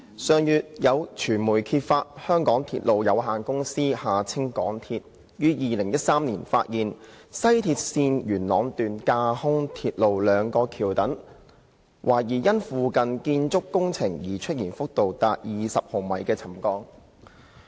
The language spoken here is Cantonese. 上月有傳媒揭發，香港鐵路有限公司於2013年發現，西鐵綫元朗段架空鐵路兩個橋躉懷疑因附近建築工程而出現幅度達20毫米的沉降。